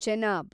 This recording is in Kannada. ಚೆನಾಬ್